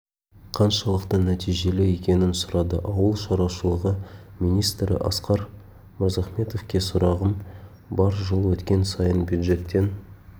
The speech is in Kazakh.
қаншалықты нәтижелі екенін сұрады ауыл шаруашылығы министрі асқар мырзахметовке сұрағым бар жыл өткен сайын бюджеттен